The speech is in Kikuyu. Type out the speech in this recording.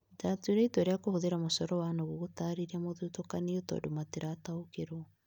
Ndatuire itua rĩa kũhuthĩra mũcoro wa nũgũ gũtaarĩria mũthutũkanio tondũ matirataukĩrwo